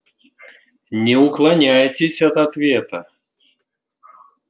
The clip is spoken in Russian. не уклоняйтесь от ответа